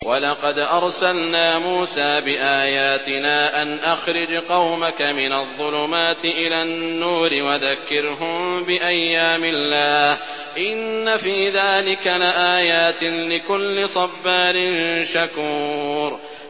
وَلَقَدْ أَرْسَلْنَا مُوسَىٰ بِآيَاتِنَا أَنْ أَخْرِجْ قَوْمَكَ مِنَ الظُّلُمَاتِ إِلَى النُّورِ وَذَكِّرْهُم بِأَيَّامِ اللَّهِ ۚ إِنَّ فِي ذَٰلِكَ لَآيَاتٍ لِّكُلِّ صَبَّارٍ شَكُورٍ